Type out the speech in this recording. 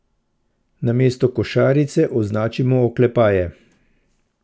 Namesto košarice označimo oklepaje.